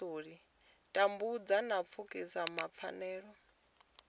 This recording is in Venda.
tambudzwa na pfukiwa ha pfanelo